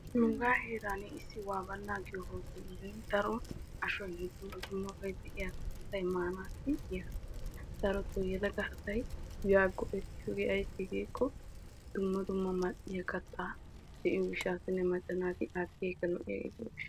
Nuuga heeran de'iya giyan daro yelaga asay maanawu go'ettiyo hootelle de'ees. Hagaanikka lo'iyaa maca naati de'iyo gishawu go'ettosonna.